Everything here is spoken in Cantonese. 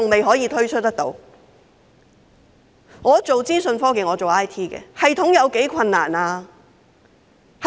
我從事資訊科技，設立系統有多困難呢？